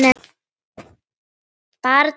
Barn núna.